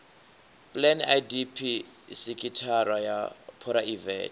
plan idp sekithara ya phuraivete